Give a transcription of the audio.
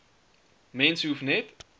mens hoef net